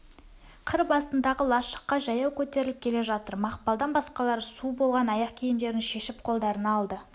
қыр басындағы лашыққа жаяу көтеріліп келе жатыр мақпалдан басқалары су болған аяқ киімдерін шешіп қолдарына алды